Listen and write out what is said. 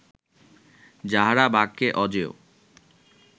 যাঁহারা বাক্যে অজেয়